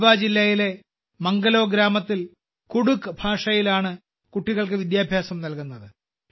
ഗഢ്വാ ജില്ലയിലെ മംഗലോ ഗ്രാമത്തിൽ കുഡുഖ് ഭാഷയിലാണ് കുട്ടികൾക്ക് വിദ്യാഭ്യാസം നൽകുന്നത്